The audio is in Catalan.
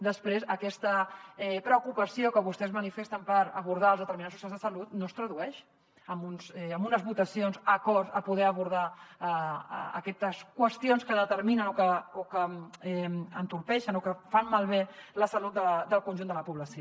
després aquesta preocupació que vostès manifesten per abordar els determinants socials de salut no es tradueix en unes votacions concordes amb poder abordar aquestes qüestions que determinen o que entorpeixen o que fan malbé la salut del conjunt de la població